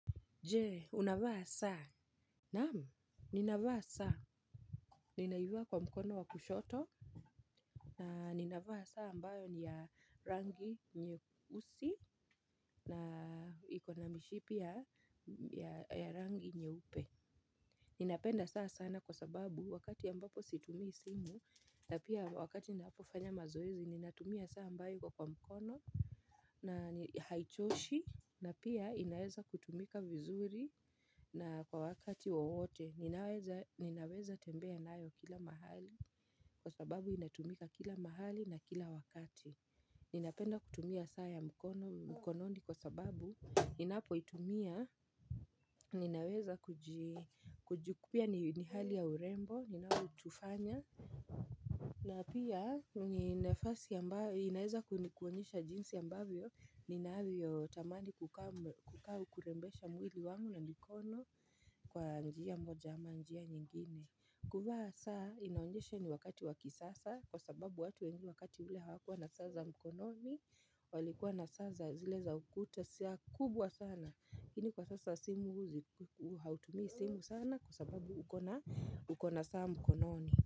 Jee, unavaa saa. Naam, ninavaa saa. Ninaivaa kwa mkono wa kushoto. Na ninavaa saa ambayo ni ya rangi nyeusi. Na iko na mishipi ya ya rangi nyeupe. Ninapenda saa sana kwa sababu wakati ambapo situmii simu. Na pia wakati napofanya mazoezi, ninatumia saa ambayo iko kwa mkono. Na haichoshi. Na pia inaeza kutumika vizuri. Na kwa wakati wowote, ninaweza tembea nayo kila mahali. Kwa sababu inatumika kila mahali na kila wakati. Ninapenda kutumia saa ya mkono, mkononi kwa sababu ninapoitumia, ninaweza kuji pia ni hali ya urembo, inayo tufanya. Na pia, ni nafasi ambayo inaweza kunionyesha jinsi ambavyo ninaavyo tamani kukaa au kurembesha mwili wangu na mikono kwa njia moja ama njia nyingine. Kuvaa saa inaonyesha ni wakati wa kisasa kwa sababu watu wengi wakati ule hawakua na saa za mkononi. Walikuwa na saa za zile za ukuta saa kubwa sana lakini kwa sasa simu huzi hautumii simu sana kwa sababu ukona saa mkononi.